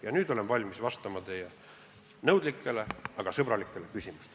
Ja nüüd olen valmis vastama teie nõudlikele, aga sõbralikele küsimustele.